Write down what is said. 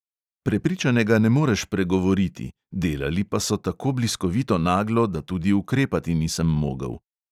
Prepričanega ne moreš pregovoriti, delali pa so tako bliskovito naglo, da tudi ukrepati nisem mogel.